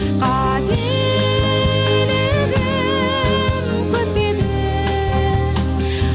қателігім көп пе еді